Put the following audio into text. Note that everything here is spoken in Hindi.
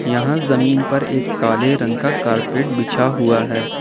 यहां जमीन पर एक काले रंग का कारपेट बिछा हुआ है।